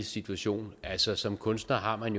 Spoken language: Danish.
situation altså som kunstner har man